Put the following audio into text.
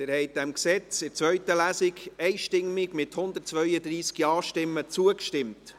Sie haben diesem Gesetz in der zweiten Lesung, einstimmig mit 132 Ja-Stimmen, zugestimmt.